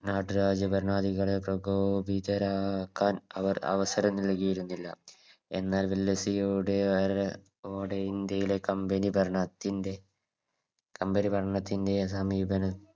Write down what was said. നാട്ടുരാജ്യ ഭരണാധികാരകക്ക് പ്രകോപിതരാക്കാൻ അവർ അവസരം നൽകിയിരുന്നില്ല എന്നാൽ ഡെൽഹൌസിയുടെ ഓടെ ഇന്ത്യയുടെ Company ഭരണത്തിൻറെ Company ഭരണത്തിൻറെ സമീപനം